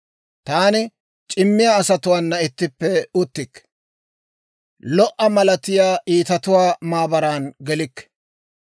Taani c'immiyaa asatuwaana ittippe uttikke; lo"a malatiyaa iitatuwaa maabaran gelikke.